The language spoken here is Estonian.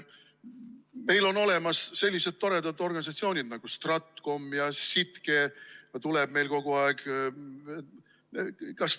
Meil on olemas sellised toredad organisatsioonid nagu StratCom ja SITKE, kust tuleb meile kogu aeg.